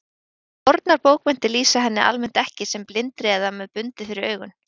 fornar bókmenntir lýsa henni almennt ekki sem blindri eða með bundið fyrir augun